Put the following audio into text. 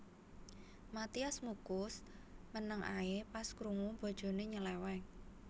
Mathias Muchus meneng ae pas krungu bojone nyeleweng